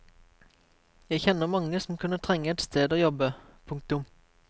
Jeg kjenner mange som kunne trenge et sted å jobbe. punktum